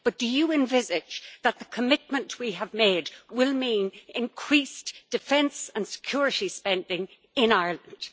But do you envisage that the commitment we have made will mean increased defence and security spending in Ireland?